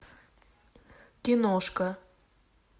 киношка